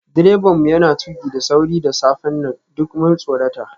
Direban mu yana tuki da sauri da safen nan, duk mun tsorata.